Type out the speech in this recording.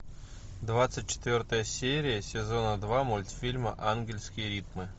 двадцать четвертая серия сезона два мультфильма ангельские ритмы